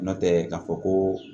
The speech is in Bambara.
Nɔntɛ k'a fɔ koo